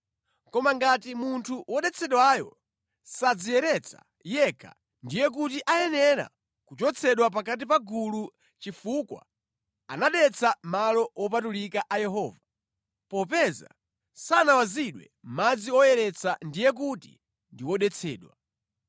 Koma ngati munthu wodetsedwayo sadziyeretsa yekha, ndiye kuti ayenera kuchotsedwa pakati pa gulu chifukwa anadetsa malo wopatulika a Yehova, popeza sanawazidwe madzi oyeretsa ndiye kuti ndi wodetsedwa.